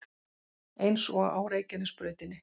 Eins og á Reykjanesbrautinni